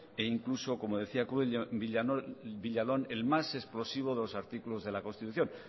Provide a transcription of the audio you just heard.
e incluso como decía cruz villalón el más explosivo de los artículos de la constitución